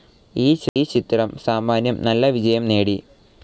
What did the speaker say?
ഈ ചിത്രം സാമാന്യം നല്ല വിജയം നേടി.